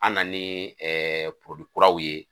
An nan'i kuraw ye